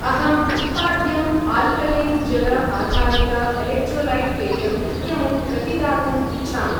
अहम् उत्पाद्यं आल्कलेन् जल आधारित एलेक्ट्रोलैट् पेयम् इत्यमुं प्रतिदातुम् इच्छामि।